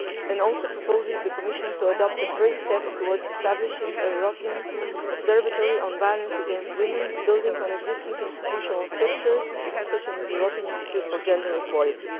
It also proposes that the Commission take the first steps towards establishing a European Observatory on Violence Against Women, building on existing institutional structures such as the European Institute for Gender Equality.